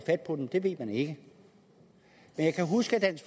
dem ved man ikke jeg kan huske at